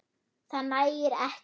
Það nægir ekki.